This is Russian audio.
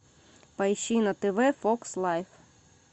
поищи на тв фокс лайф